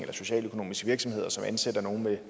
er socialøkonomiske virksomheder som ansætter nogle med